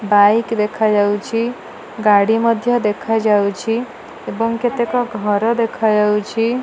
Bike ଦେଖାଯାଉଛି। ଗାଡି ମଧ୍ଯ ଦେଖାଯାଉଛି ଏବଂ କେତେକ ଘର ଦେଖାଯାଉଛି